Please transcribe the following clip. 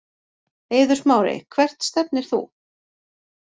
Eiður Smári Hvert stefnir þú?